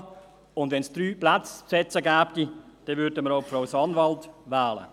wenn es drei Plätze zu besetzen gäbe, würden wir auch Frau Sanwald wählen.